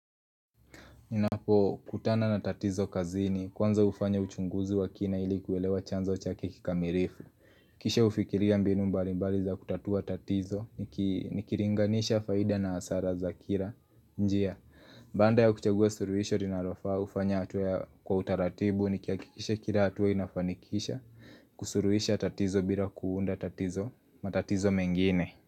Ninapo kutana na tatizo kazini kwanza hufanya uchunguzi wa kina ili kuelewa chanzo cha kikikamilifu Kisha hufikiria mbinu mbali mbali za kutatua tatizo niki nikiringanisha faida na hasara za kira njia, baada ya kuchagua sururuhisho rinarofaa hufanya hatua ya kwa utaratibu nikihakikisha kira hatua inafanikisha Kusuruhisha tatizo bila kuunda tatizo matatizo mengine.